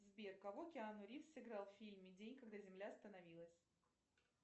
сбер кого киану ривз сыграл в фильме в день когда земля остановилась